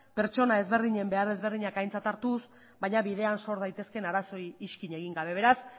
pertsona ezberdinen behar ezberdinak aintzat hartuz baina bidean sor daitezkeen arazoei iskin egin gabe beraz